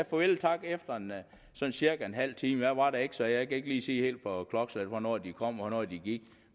farvel og tak efter cirka en halv time jeg var der ikke så jeg kan ikke lige sige på klokkeslæt hvornår de kom og hvornår de gik